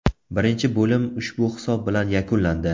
Birinchi bo‘lim ushbu hisob bilan yakunlandi.